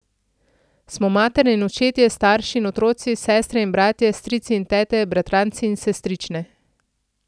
Smo matere in očetje, starši in otroci, sestre in bratje, strici in tete, bratranci in sestrične.